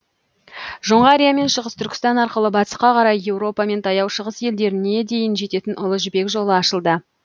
жоңғария мен шығыс түркістан арқылы батысқа қарай еуропа мен таяу шығыс елдеріне дейін жететін ұлы жібек жолы ашылды